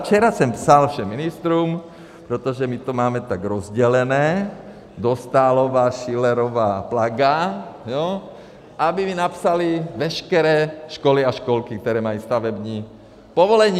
Včera jsem psal všem ministrům, protože my to máme tak rozdělené, Dostálová, Schillerová, Plaga, jo, aby mi napsali veškeré školy a školky, které mají stavební povolení.